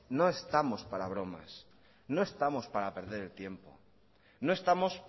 no estamos para bromas no estamos para perder el tiempo no estamos